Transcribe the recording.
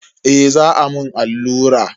Eh za a mun allura.